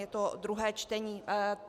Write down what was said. Je to druhé čtení.